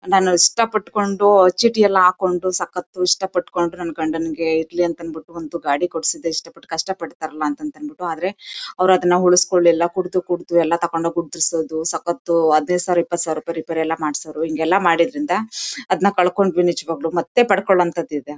ನಾನು ಇಷ್ಟ ಪಟ್ಕೊಂಡು ಚೀಟಿ ಎಲ್ಲಾ ಹಾಕೊಂಡು ಸಕ್ಕತು ಇಷ್ಟಪಟ್ಕೊಂಡು ನನ್ ಗಂಡನಿಗೆ ಇರ್ಲಿ ಅಂತ ಅಂದ್ಬಿಟ್ಟು ಒಂದ್ ಗಾಡಿ ಕೊಡ್ಸಿದ್ದೆ ಇಷ್ಟಪಟ್ಟು ಕಷ್ಟ ಪಡತಾರಲ್ಲ ಅಂತಂದ್ಬಿಟ್ಟು. ಆದ್ರೆ ಅವ್ರು ಅದ್ನ ಉಳ್ಸಿಕೊಳಿಲ್ಲ ಕುಡ್ದು ಕುಡ್ದು ಎಲ್ಲಾ ತಕಂಡ್ ಹೋಗಿ ಉದ್ರಿಸೋದು ಸಕ್ಕತು ಹದಿನೈದು ಸಾವಿರ ಇಪ್ಪತ್ತು ಸಾವಿರ ರೂಪಾಯಿ ರಿಪೇರಿ ಎಲ್ಲಾ ಮಾಡ್ಸೋರು ಹಿಂಗೆಲ್ಲ ಮಾಡಿದ್ರಿಂದ ಅದ್ನ ಕಳ್ಕೊಂಡ್ವಿ ನಿಜ್ವಾಗ್ಲೂ ಮತ್ತೆ ಪಡ್ಕೊಳ್ಳೋವಂಥದ್ದು ಇದೆ.